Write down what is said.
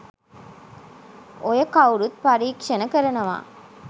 ඔය කව්රුත් පරීක්ෂණ කරනවා